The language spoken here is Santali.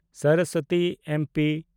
ᱥᱚᱨᱚᱥᱵᱚᱛᱤ (ᱮᱢᱯᱤ)